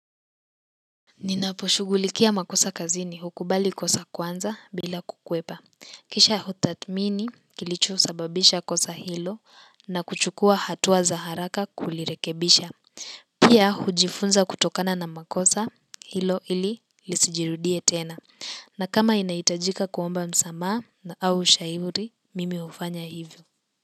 Ninaposhugulikia makosa kazini, hukubali kosa kwanza bila kukwepa. Kisha hutathmini kilicho sababisha kosa hilo, na kuchukua hatua za haraka kulirekebisha. Pia hujifunza kutokana na makosa hilo, ili lisijirudie tena. Na kama inahitajika kuomba msamaha au ushauri, mimi hufanya hivo.